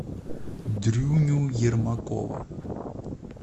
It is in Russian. дрюню ермакова